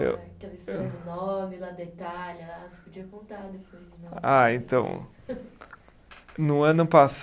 Do nome, lá da Itália lá, você podia contar depois. Ah, então, no ano